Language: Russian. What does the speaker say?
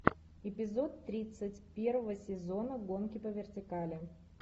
эпизод тридцать первого сезона гонки по вертикали